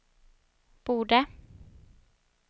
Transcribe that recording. borde